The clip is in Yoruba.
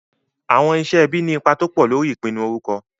Àwọn iṣẹ́ ẹbí ní ipa tó pọ̀ lórí ìpinnu orúkọ.